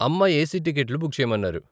అమ్మ ఏసీ టికెట్లు బుక్ చేయమన్నారు.